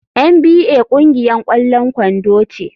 NBA ƙungiyar ƙwallon kwando ce.